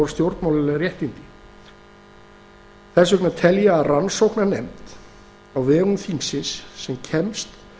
stjórnmálaleg réttindi þess vegna tel ég að rannsóknarnefnd á vegum þingsins sem kemst